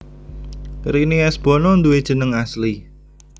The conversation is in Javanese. Rini S Bono duwé jeneng asli